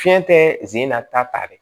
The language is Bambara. Fiɲɛ tɛ zi in na ta dɛ